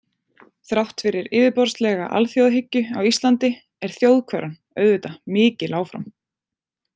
Þrátt fyrir yfirborðslega alþjóðahyggju á Íslandi er þjóðhverfan auðvitað mikil áfram.